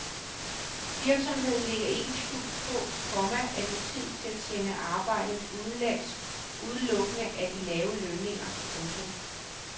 Virksomheden lægger ikke skjul på, komma at motivet til at sende arbejdet udenlandsudelukkende er de lavere lønninger. punktum